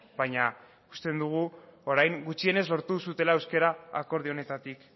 baina ikuste dugu orain gutxienez lortu duzuela euskara akordio honetatik